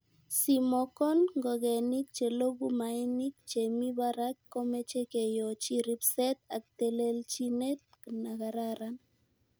Simokon ngogenik che loguk mainik chemi barak komoche keyochi ribset ak telelchinet nakararan.